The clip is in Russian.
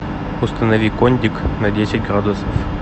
установи кондик на десять градусов